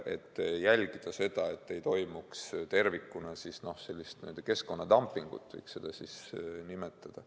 Tuleb jälgida, et tervikuna ei toimuks keskkonnadumpingut – nii võiks seda nimetada.